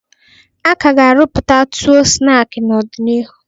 A ka ga-arụpụta ọtuo snaakị n'ọdịnihu.